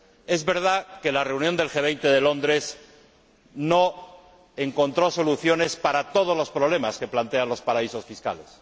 Es verdad que la reunión del G 20 de Londres no encontró soluciones para todos los problemas que plantean los paraísos fiscales.